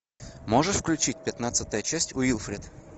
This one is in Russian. можешь включить пятнадцатая часть уилфред